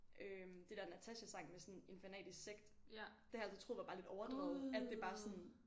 Øh det der Natasja sang med sådan en fanatisk sekt det har jeg altid troet var bare lidt overdrevet at det bare sådan